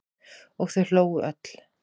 Og þau hlógu öll.